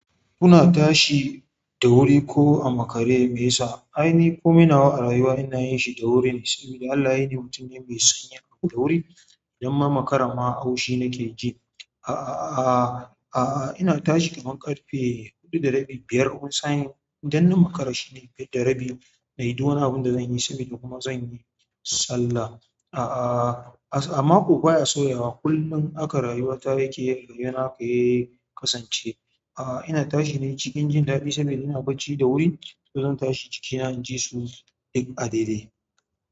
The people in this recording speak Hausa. Kuna tashi da wuri ko a makare me yasa? Ai ni komai nawa a rayuwa ina yin shi da wuri ne saboda Allah yayini mutum ne mai sonyin abu da wuri idan na makara ma haushi nake ji. A'a, a'a ina tashi kaman ƙarfe huɗu da rabi biyar wani sa'in idan na makara shine biyar da rabi. Na yi ɗuwwani abinda zanyi saboda kuma zanyi sallah. A'a amma ko baya sauya wa kullum haka rayu wata yake kasance. A'a ina tashi ne cikin jin daɗi saboda ina bacci da wuri to zan tashi jikina injisu duk a daidai.